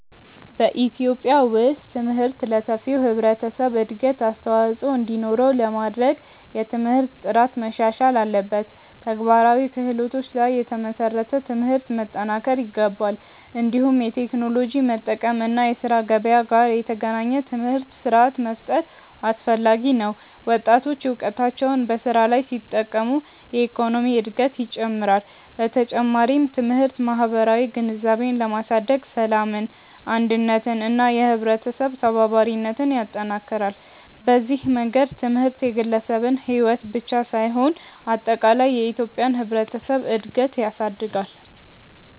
በኢትዮጵያ ውስጥ ትምህርት ለሰፊው ህብረተሰብ እድገት አስተዋፅኦ እንዲኖረው ለማድረግ የትምህርት ጥራት መሻሻል አለበት፣ ተግባራዊ ክህሎቶች ላይ የተመሰረተ ትምህርት መጠናከር ይገባል። እንዲሁም የቴክኖሎጂ መጠቀም እና የስራ ገበያ ጋር የተገናኘ ትምህርት ስርዓት መፍጠር አስፈላጊ ነው። ወጣቶች እውቀታቸውን በስራ ላይ ሲጠቀሙ የኢኮኖሚ እድገት ይጨምራል። በተጨማሪም ትምህርት ማህበራዊ ግንዛቤን በማሳደግ ሰላምን፣ አንድነትን እና የህብረተሰብ ተባባሪነትን ይጠናክራል። በዚህ መንገድ ትምህርት የግለሰብን ሕይወት ብቻ ሳይሆን አጠቃላይ የኢትዮጵያን ህብረተሰብ እድገት ያሳድጋል።